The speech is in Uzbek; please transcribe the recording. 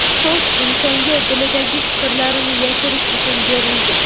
So‘z - insonga dilidagi fikrlarini yashirish uchun berilgan.